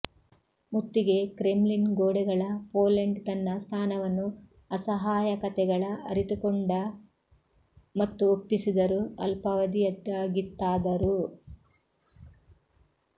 ಮುತ್ತಿಗೆ ಕ್ರೆಮ್ಲಿನ್ ಗೋಡೆಗಳ ಪೋಲೆಂಡ್ ತನ್ನ ಸ್ಥಾನವನ್ನು ಅಸಹಾಯಕತೆಗಳ ಅರಿತುಕೊಂಡ ಮತ್ತು ಒಪ್ಪಿಸಿದರು ಅಲ್ಪಾವಧಿಯದ್ದಾಗಿತ್ತಾದರೂ